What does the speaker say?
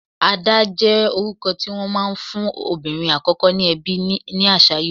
Ada jẹ́ orúkọ tí wón máa ń fún obìnrin àkọ́kọ́ ní ẹbí ní àṣà Ìgbò.